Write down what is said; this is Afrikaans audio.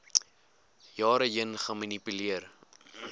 jare heen gemanipuleer